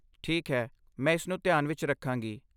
ਠੀਕ ਹੈ। ਮੈਂ ਇਸਨੂੰ ਧਿਆਨ ਵਿੱਚ ਰੱਖਾਂਗੀ।